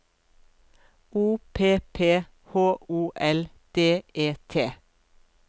O P P H O L D E T